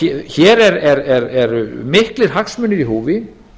hér eru miklir hagsmunir í húfi